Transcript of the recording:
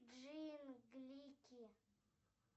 джинглики